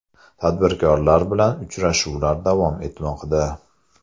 Tadbirkorlar bilan uchrashuvlar davom etmoqda.